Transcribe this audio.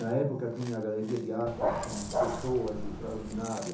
Na época, tinha a Galeria de Artes com pessoas extraordinária.